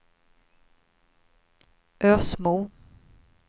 Ösmo